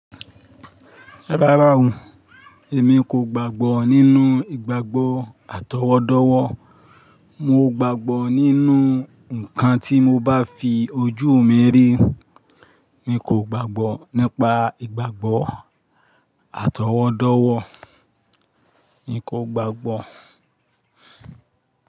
Rárá o èmi kò gbàgbọ́ nínú ìgbàgbọ́ àtọwọ́dọ́wọ́. Mo gbàgbọ́ nínú ǹkan tí mo bá fi ojú mi rí. Mi kò gbàgbọ́ nípa ìgbàgbọ́ àtọwọ́dọ́wọ́. Mi kò gbàgbọ́.